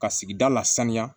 Ka sigida la sanuya